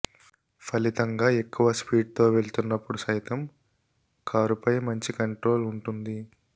ఫలితంగా ఎక్కువ స్పీడ్తో వెళ్తున్నప్పుడు సైతం కారుపై మంచి కంట్రోల్ ఉంటుంది